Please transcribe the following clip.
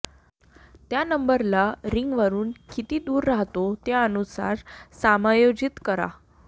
त्या नंबरला रिंगवरून किती दूर राहतो त्यानुसार समायोजित करा